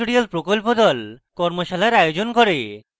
কর্মশালার আয়োজন করে